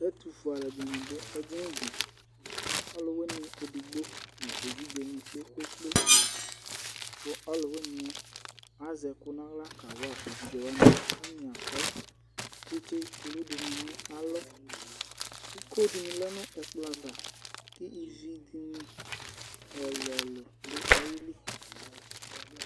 Ɛtufue aluɛdini du edini di ɔluwini edigbo evidze ni kpekpe kpekpe ku ɔluwini azɛ ɛku naɣla kawa evidzewani katani akɔ tsitsi kulu dini du nalɔ iko dini lɛ nu ɛkplɔ ava evidzedini ɛlu ɛlu du ayili